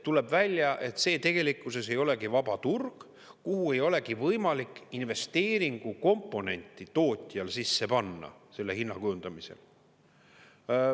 Tuleb välja, et see tegelikkuses ei olegi vaba turg, kuhu ei olegi võimalik investeeringukomponenti tootjal sisse panna selle hinna kujundamisel.